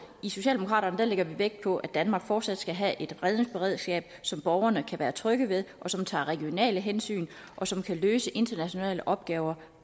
socialdemokraterne lægger vi vægt på at danmark fortsat skal have et redningsberedskab som borgerne kan være trygge ved som tager regionale hensyn og som kan løse internationale opgaver